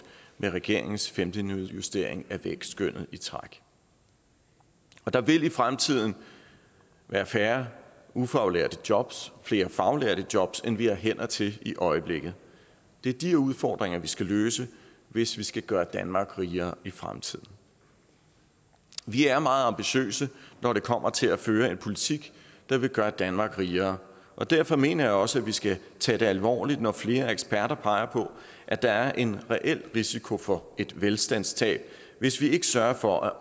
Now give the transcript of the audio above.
med regeringens femte nedjustering af vækstskønnet i træk der vil i fremtiden være færre ufaglærte jobs flere faglærte jobs end vi har hænder til i øjeblikket det er de udfordringer vi skal løse hvis vi skal gøre danmark rigere i fremtiden vi er meget ambitiøse når det kommer til at føre en politik der vil gøre danmark rigere og derfor mener jeg også at vi skal tage det alvorligt når flere eksperter peger på at der er en reel risiko for et velstandstab hvis vi ikke sørger for at